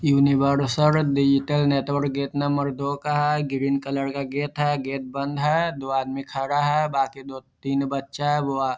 universal digital network gate number दो का है ग्रीन कलर का गेट है गेट बंद है दो आदमी खड़ा है बाकी दो-तीन बच्चा है वो --